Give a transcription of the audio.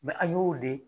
an y'o de